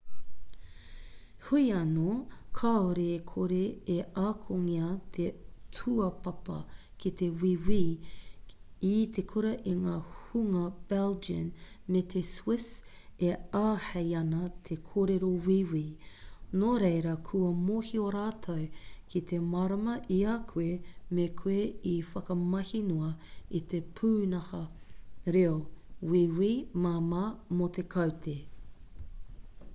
heoi anō kāore e kore e akongia te tūapapa ki te wīwi i te kura e ngā hunga belgian me te swiss e āhei ana te kōrero wīwi nō reira kua mōhio rātou ki te mārama i a koe me koe i whakamahi noa i te pūnaha reo wīwi māmā mō te kaute